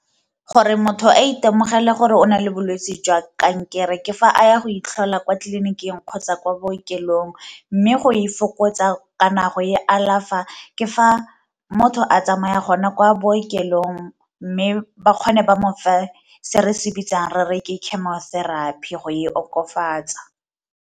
Gore motho a itemogele gore o nang le bolwetse jwa kankere ke fa a ya go itlhola kwa tliliniking kgotsa kwa bookelong, mme go e fokotsa kana go e alafa ke fa motho a tsamaya gona kwa bookelong mme bakgone ba mo fe se re se bitsang re re ke chemotherapy go e okofatsa.